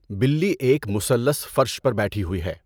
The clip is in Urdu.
بلی ایک مثلث فرش پر بیٹھی ہوئی ہے۔